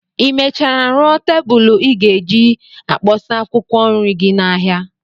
Ị mechara rụọ tebulu ị ga-eji akpọsa akwụkwọ nri gị n'ahịa?